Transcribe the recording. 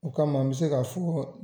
O kama n bɛ se k'a fɔ